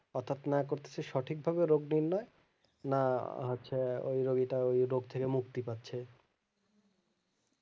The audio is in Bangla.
অর্থাৎ না করতেছে সঠিক ভাবে রোগ নির্ণয় না হচ্ছে ওই রোগীটা ওই রোগ থেকে মুক্তি পাচ্ছে